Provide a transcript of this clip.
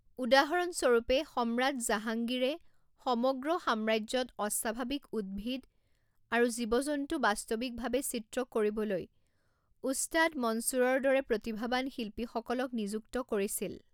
উদাহৰণস্বৰূপে সম্ৰাত জাহাঙ্গীৰে সমগ্ৰ সাম্ৰাজ্যত অস্বাভাৱিক উদ্ভিদ আৰু জীৱ জন্তু বাস্তৱিকভাৱে চিত্ৰ কৰিবলৈ ওস্তাদ মনছুৰৰ দৰে প্ৰতিভাবান শিল্পীসকলক নিযুক্ত কৰিছিল।